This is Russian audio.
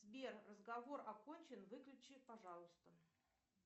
сбер разговор окончен выключи пожалуйста